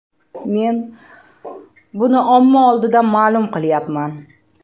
Men buni omma oldida ma’lum qilyapman.